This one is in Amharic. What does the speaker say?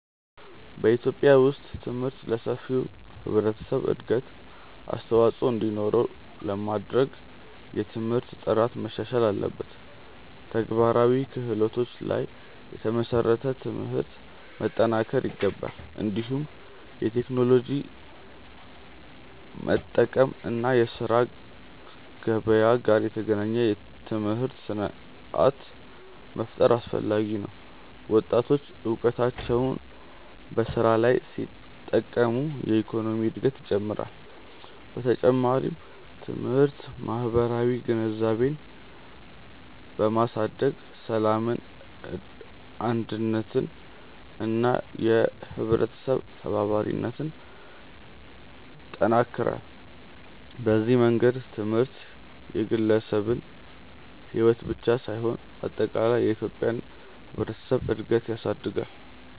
በኢትዮጵያ ውስጥ ትምህርት ለሰፊው ህብረተሰብ እድገት አስተዋፅኦ እንዲኖረው ለማድረግ የትምህርት ጥራት መሻሻል አለበት፣ ተግባራዊ ክህሎቶች ላይ የተመሰረተ ትምህርት መጠናከር ይገባል። እንዲሁም የቴክኖሎጂ መጠቀም እና የስራ ገበያ ጋር የተገናኘ ትምህርት ስርዓት መፍጠር አስፈላጊ ነው። ወጣቶች እውቀታቸውን በስራ ላይ ሲጠቀሙ የኢኮኖሚ እድገት ይጨምራል። በተጨማሪም ትምህርት ማህበራዊ ግንዛቤን በማሳደግ ሰላምን፣ አንድነትን እና የህብረተሰብ ተባባሪነትን ይጠናክራል። በዚህ መንገድ ትምህርት የግለሰብን ሕይወት ብቻ ሳይሆን አጠቃላይ የኢትዮጵያን ህብረተሰብ እድገት ያሳድጋል።